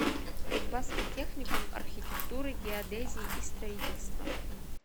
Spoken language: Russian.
кузбасский техникум архитектуры геодезии и строительства